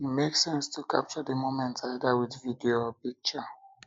e make sense to capture di moment either with video or picture